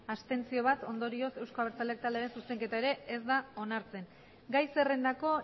abstentzioak bat ondorioz euzko abertzaleak taldearen zuzenketa ere ez da onartzen gai zerrendako